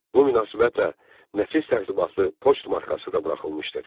Bu münasibətlə nəfis tərtibatlı poçt markası da buraxılmışdır.